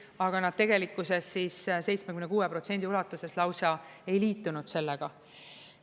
Aga nad tegelikkuses 76% ulatuses lausa ei liitunud sellega.